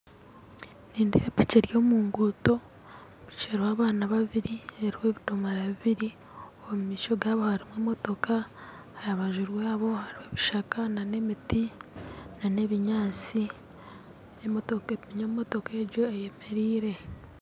Nindeeba piki eri omunguuto eriho abaana babiri eriho ebidomoora bibiri omumaisho gaabo hariho emotooka aharubaju rwabo ebishaka nana emiti nana ebinyatsi emootoka egyo eyemereire